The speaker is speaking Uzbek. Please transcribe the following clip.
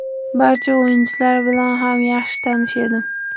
Barcha o‘yinchilar bilan ham yaxshi tanish edim.